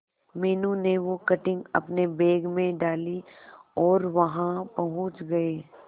मीनू ने वो कटिंग अपने बैग में डाली और वहां पहुंच गए